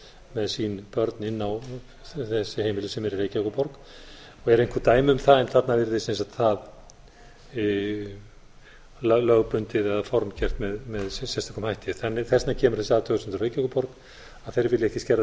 með sín börn inn á þessi heimili sem eru í reykjavíkurborg eru einhver dæmi um það þarna virðist það lögbundið eða formgert með sérstökum hætti þess vegna kemur þessi athugasemd frá reykjavíkurborg að þeir vilja ekki skerða